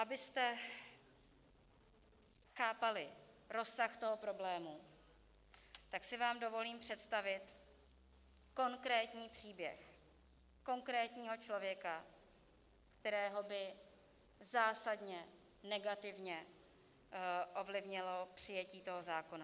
Abyste chápali rozsah toho problému, tak si vám dovolím představit konkrétní příběh konkrétního člověka, kterého by zásadně negativně ovlivnilo přijetí toho zákona.